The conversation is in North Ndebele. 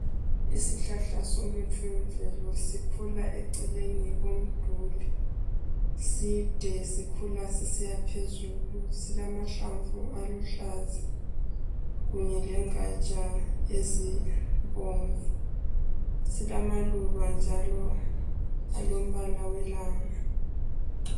Isihlahla somuthi wemvelo sikhula eceleni komduli, side sikhula sisiya phezulu silamahlamvu aluhlaza kunye lengatsha ezibomvu, silamaluba njalo alombala welanga.